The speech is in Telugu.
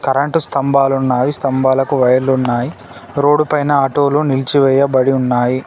కరెంటు స్థంభాలున్నాయి స్తంభాలకు వైర్లున్నాయ్ రోడ్డు పైన ఆటోలు నిలిచివేయబడి ఉన్నాయి.